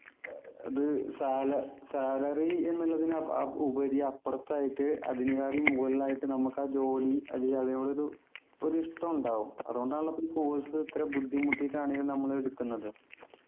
ഏർ അത് സാല salary എന്നുള്ളത് ആഹ് ഉപരി അപ്പുറത്തായിട്ട് അതിനെക്കാട്ടിലും മുകളിലായിട്ട് നമുക്ക് ആ ജോലി അല്ലെങ്കിൽ അതിനോട് ഒരു ഒരു ഇഷ്ടം ഉണ്ടാവും അതുകൊണ്ടാണല്ലോ പ്പോ ഇ course ഇത്ര ബുദ്ധിമുട്ടിട്ടാണെങ്കിലും നമ്മൾ എടുക്കുന്നത്